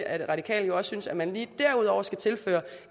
at de radikale jo også synes at man lige derudover skal tilføre